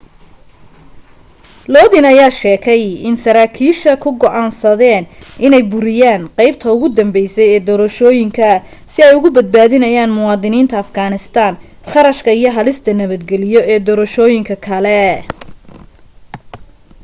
lodin ayaa sheegay in sarakiisha ku go'aansadeen inay buriyaan qaybta ugu dambeysay ee doorashooyinka si ay uga badnaadiyaan muwadiniinta afghanistan kharashka iyo halista nabadgeliyo ee doorashooyin kale